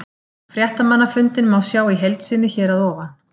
Fréttamannafundinn má sjá í heild sinni hér að ofan.